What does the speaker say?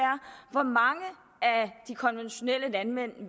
hvor mange af de konventionelle landmænd